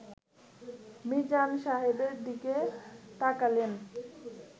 মিজান সাহেবের দিকে তাকালেন